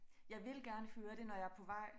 Jeg vil gerne høre det når jeg er på vej